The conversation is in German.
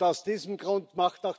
Aus diesem Grund